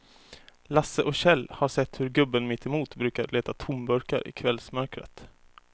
Lasse och Kjell har sett hur gubben mittemot brukar leta tomburkar i kvällsmörkret.